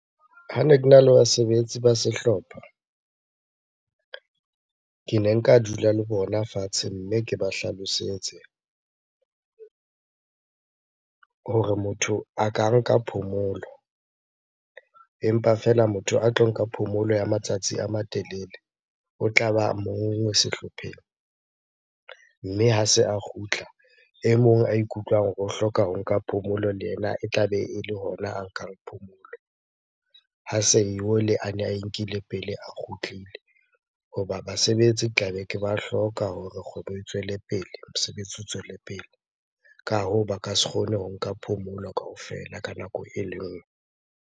Hane kena le basebetsi ba sehlopha, kene nka dula le bona fatshe mme ke ba hlalosetse hore motho a ka nka phomolo. Empa feela motho a tlo nka phomolo ya matsatsi a matelele, o tla ba mong sehlopheng. Mme ha se a kgutla, e mong a ikutlwang hore o hloka ho nka phomolo le ena e tlabe ele hona a nkang phomolo ha se a ne ae nkile pele a kgutlile. Hoba basebetsi ke tlabe ke ba hloka hore kgwebo e tswele pele, mosebetsi o tswele pele. Ka hoo, ba ka se kgone ho nka phomolo kaofela ka nako ele nngwe.